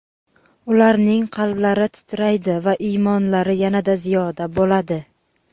ularning qalblari titraydi va iymonlari yanada ziyoda bo‘ladi.